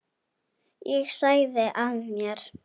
Ég sagði af mér.